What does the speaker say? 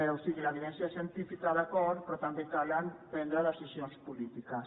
o sigui l’evidència científica d’acord però també cal prendre decisions polítiques